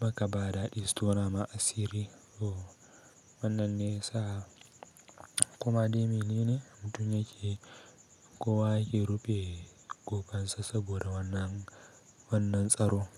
maka bada ɗisto nama asiri so wannan nesa. Kuma dai mene mutum yake, kowa yake rufe ƙofansa saboda wannan, wannan tsaro.